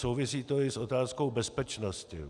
Souvisí to i s otázkou bezpečnosti.